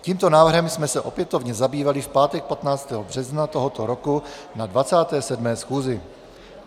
Tímto návrhem jsme se opětovně zabývali v pátek 15. března tohoto roku na 27. schůzi.